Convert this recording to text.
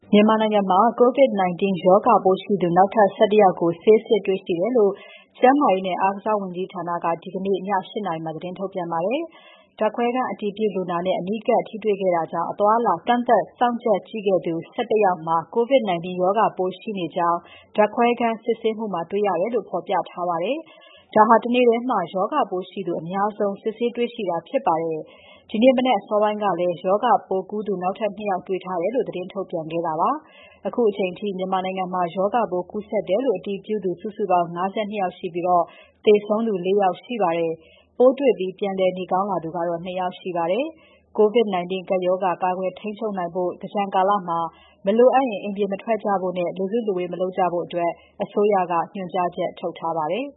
မြန်မာနိုင်ငံမှာ COVID-19 ရောဂါပိုးရှိသူ နောက်ထပ် ၁၁ ယောက်ကို ဆေးစစ်တွေ့ရှိတယ်လို့ ကျန်းမာရေးနဲ့ အားကစားဝန်ကြီးဌာနက ဒီနေ့ ည ၈ နာရီမှာ သတင်းထုတ်ပြန်ပါတယ်။ ဓာတ်ခွဲအတည်ပြုလူနာနဲ့ အနီးကပ်ထိတွေ့ခဲ့တာကြောင့် အသွားအလာကန့်သတ် စောင့်ကြပ်ကြည့်ခဲ့သူ ၁၁ ယောက်မှာ COVID-19 ရောဂါပိုးရှိနေကြောင်း ဓါတ်ခွဲခန်း စစ်ဆေးမှုမှာ တွေ့ရတယ်လို့ ဖော်ပြထားပါတယ်။ ဒါဟာ တနေ့ထဲမှာ ရောဂါပိုးရှိသူ တရက်ထဲမှာ အများဆုံး စစ်ဆေးတေ့ွတာဖြစ်ပါတယ်။ ဒီနေ့မနက်အစောပိုင်းကလည်း ရောဂါပိုးကူးသူ နောက်ထပ် ၂ ယောက်တေ့ွထားတယ်လို့ သတင်းထုတ်ပြန်ခဲ့တာပါ။ အခုအချိန်အထိ မြန်မာနိုင်ငံမှာ ရောဂါပိုးကူးစက်တယ်လို့ အတည်ပြုသူ စုစုပေါင်း ၅၂ ယောက်ရှိပြီး သေဆုံးသူ ၄ ယောက်ရှိပါတယ်။ ပိုးတွေ့ပြီး ပြန်လည်နေကောင်းလာသူကတော့ ၂ ယောက်ရှိပါတယ်။ COVID-19 ကပ်ရောဂါ ကာကွယ်ထိန်းချုပ်နိုင်ဖို့ သင်္ကြန်ကာလမှာ မလိုအပ်ရင် အိမ်ပြင် မထွက်ကြဖို့နဲ့ လူစုလူဝေးမလုပ်ကြဖို့ အစိုးရက ညွှန်ကြားချက်ထုတ်ထားပါတယ်